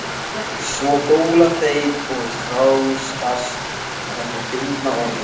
Svo góla þeir og þrástagast á þessu fyndna orði.